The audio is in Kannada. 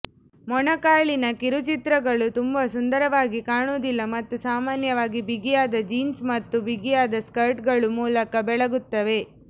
ಮೊಣಕಾಲಿನ ಕಿರುಚಿತ್ರಗಳು ತುಂಬಾ ಸುಂದರವಾಗಿ ಕಾಣುವುದಿಲ್ಲ ಮತ್ತು ಸಾಮಾನ್ಯವಾಗಿ ಬಿಗಿಯಾದ ಜೀನ್ಸ್ ಮತ್ತು ಬಿಗಿಯಾದ ಸ್ಕರ್ಟ್ಗಳು ಮೂಲಕ ಬೆಳಗುತ್ತವೆ